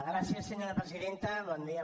gràcies senyora presidenta bon dia